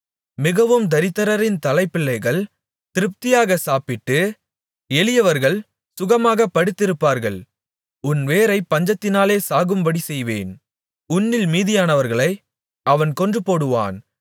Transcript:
மிகவும் தரித்திரரின் தலைப் பிள்ளைகள் திருப்தியாகச் சாப்பிட்டு எளியவர்கள் சுகமாகப் படுத்திருப்பார்கள் உன் வேரைப் பஞ்சத்தினாலே சாகும்படிசெய்வேன் உன்னில் மீதியானவர்களை அவன் கொன்று போடுவான்